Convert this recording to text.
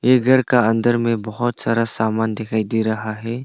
ये घर का अंदर में बहुत सारा सामान दिखाई दे रहा है।